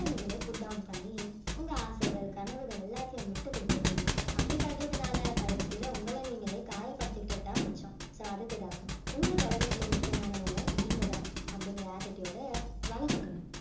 உங்கள நீங்களே put down பண்ணி உங்க ஆசைகள் கனவுகள் எல்லாத்தையும் விட்டுக் கொடுத்திருப்பீங்க அப்படி பண்றதுனால கடைசியில உங்கள நீங்களே காயப்படுத்திக்கிட்டது தான் மிச்சம் so அதுக்கு தான் உங்களுக்கு உலகத்திலேயே முக்கியமானவங்க நீங்க தான் அப்படிங்கற attitude அ வளர்த்துக்கணும்